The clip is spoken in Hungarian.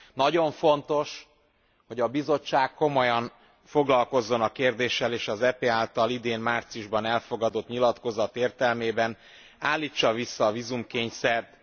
Nagyon fontos, hogy a Bizottság komolyan foglalkozzon a kérdéssel, és az EP által idén márciusban elfogadott nyilatkozat értelmében állítsa vissza a vízumkényszert...